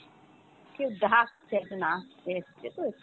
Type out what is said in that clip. কেউ ডাকছে, একজন আসছে, এসছে তো, একটু